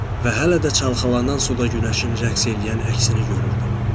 Və hələ də çalxalanan suda günəşin rəqs eləyən əksini görürdüm.